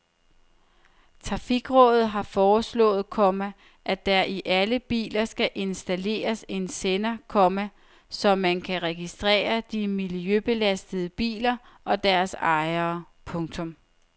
Trafikrådet har foreslået, komma at der i alle biler skal installeres en sender, komma så man kan registrere de miljøbelastende biler og deres ejere. punktum